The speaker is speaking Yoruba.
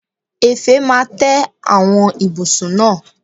Èfè máa tẹ àwọn ibùsùn náà.